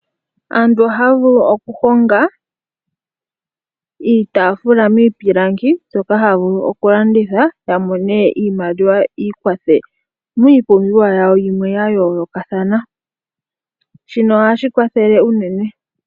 Aantu ohaya vulu okuhonga iitaafula miipilangi mbyoka haya vulu oku landitha ya mone iimaliwa yiikwathe miipumbiwa yimwe ya yooloka. Shino ohashi kwathele eenene.